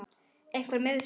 Einhver meiðsli?